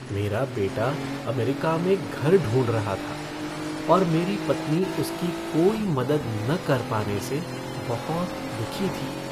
मेरा बेटा अमेरिका में घर ढूंढ रहा था और मेरी पत्नी उसकी कोई मदद न कर पाने से बहुत दुखी थी।